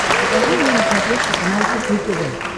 покажи мне на смотрешке канал кухня тв